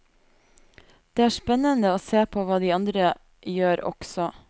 Det er spennende å se på hva de andre gjør også.